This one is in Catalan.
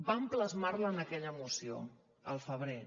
vam plasmar la en aquella moció al febrer